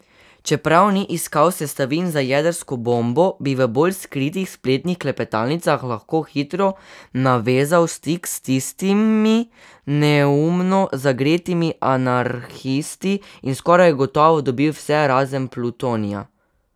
Čeprav ni iskal sestavin za jedrsko bombo, bi v bolj skritih spletnih klepetalnicah lahko hitro navezal stik s tistimi neumno zagretimi anarhisti in skoraj gotovo dobil vse razen plutonija.